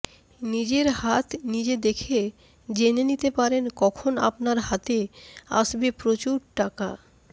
নিজের হাত নিজে দেখে জেনে নিতে পারেন কখন আপনার হাতে আসবে প্রচুর টাকা